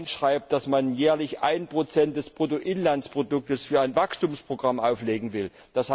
Und wer dann schreibt, dass man jährlich 1 des Bruttoinlandsprodukts für ein Wachstumsprogramm auflegen will, d.